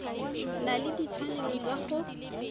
na le ditshwanelo tsa go